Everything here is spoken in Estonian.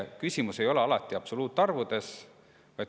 Küsimus ei ole alati absoluutarvudes.